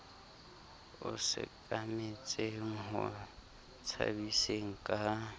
a sekametseng ho tshabiseng ka